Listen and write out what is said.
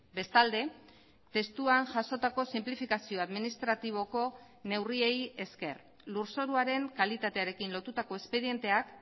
bestalde testuan jasotako sinplifikazio administratiboko neurriei esker lurzoruaren kalitatearekin lotutako espedienteak